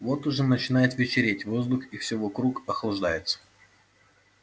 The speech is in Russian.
вот уже начинает вечереть воздух и всё вокруг охлаждается